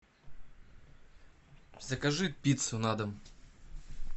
закажи пиццу на дом